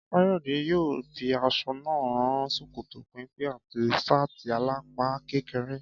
Káyọ̀dé yóò fi aṣọ náà rán ṣòkòtò péńpé àti ṣáàtì alápá kékeré